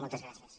moltes gràcies